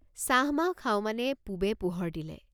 চাহমাহ খাওঁ মানে পুবে পোহৰ দিলে।